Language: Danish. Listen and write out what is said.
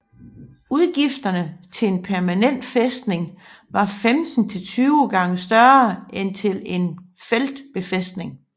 Udgifterne til en permanent fæstning var 15 til 20 gange større end til en feltbefæstning